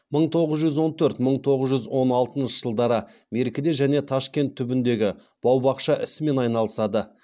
мың тоғыз жүз он төрт мың тоғыз жүз он алтыншы жылдары меркіде және ташкент түбіндегі бау бақша ісімен айналысады